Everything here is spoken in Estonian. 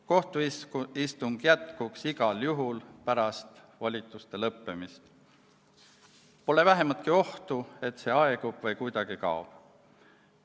Kohtuistung jätkuks igal juhul pärast volituste lõppemist, pole vähematki ohtu, et see aegub või kuidagi kaob.